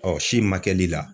si man kɛli la